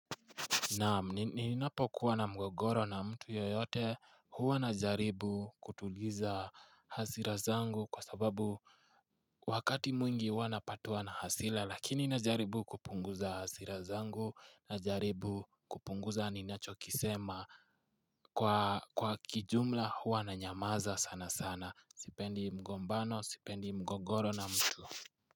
Naam, ninapokuwa na mgogoro na mtu yoyote huwa na jaribu kutuliza hasira zangu kwa sababu wakati mwingi huwa napatwa na hasila lakini na jaribu kupunguza hasira zangu, na jaribu kupunguza ninachokisema kwa kijumla huwa na nyamaza sana sana. Sipendi mgombano, sipendi mgogoro na mtu.